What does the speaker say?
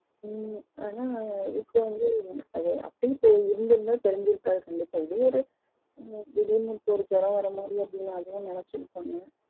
ம் ஆனா இதுக்கு வந்து அப்டியே இருந்து இருந்தா தெரிஞ்சிருக்காது கண்டிப்பா இது ஒரு திடிருன்னு ஒரு ஜுரம் வர மாரி அப்டின்னு அதுவும் நினச்சிருபங்க